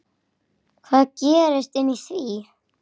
Hvað gerist inni í því?